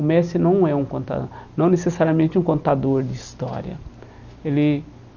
O mestre não é um conta não necessariamente um contador de história. Ele